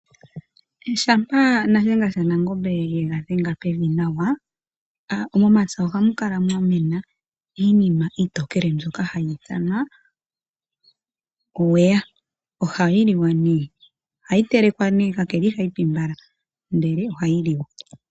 Shampa Shiyenga Shanangombe yega dhenga pevi nawa, momapya ohamu kala mwamena iinima iitokele mbyoka hayi ithanwa owawa. Ohayi liwa nduno tayi telekwa ashike ihayi pi mbala, ihe ohayi liwa.